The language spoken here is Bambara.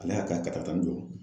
Ala y'a ka katakatanin jɔ.